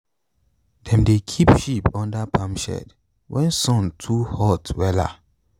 dem dey keep sheep under palm shed when sun too hot wella.